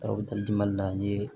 n ye